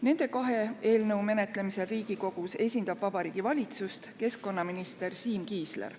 Nende kahe eelnõu menetlemisel Riigikogus esindab Vabariigi Valitsust keskkonnaminister Siim Kiisler.